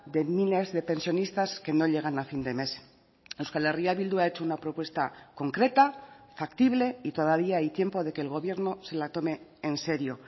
de miles de pensionistas que no llegan a fin de mes euskal herria bildu ha hecho una propuesta concreta factible y todavía hay tiempo de que el gobierno se la tome en serio